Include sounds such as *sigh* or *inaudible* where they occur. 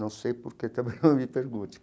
Não sei por que também *laughs* não me pergunte.